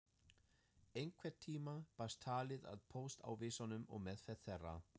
Einhvern tíma barst talið að póstávísunum og meðferð þeirra.